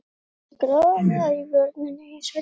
Hann tekur aðallega í vörina í sveitinni.